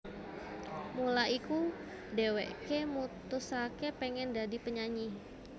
Mula iku dheweke mutusake pengen dadi penyanyi